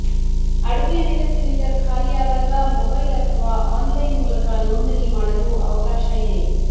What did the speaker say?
ಅಡುಗೆ ಅನಿಲ ಸಿಲಿಂಡರ್ ಖಾಲಿಯಾದಾಗ ಮೊಬೈಲ್ ಅಥವಾ ಆನ್ಲೈನ್ ಮೂಲಕ ನೋಂದಣಿ ಮಾಡಲು ಅವಕಾಶ ಇದೆ